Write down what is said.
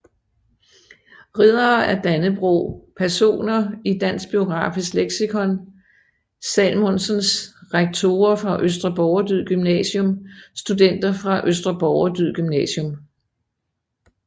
Riddere af Dannebrog Personer i Dansk Biografisk Leksikon Salmonsens Rektorer fra Østre Borgerdyd Gymnasium Studenter fra Østre Borgerdyd Gymnasium